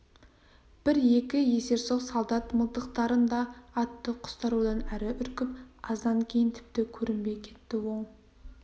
бір-екі есерсоқ солдат мылтықтарын да атты құстар одан әрі үркіп аздан кейін тіпті көрінбей кетті оң